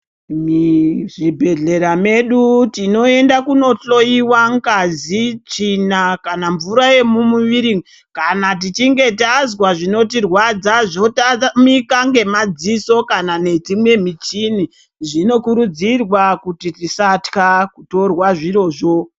Muzvibhedhlera medu tinoenda kunohloiwa ngazi, tsvina kana mvura yemumuviri, kana tichinge tazwa zvinotirwadza zvotamika ngemadziso kana nedzimwe michini zvinokurudzirwa kuti tisatya kutorwa zvirozvo.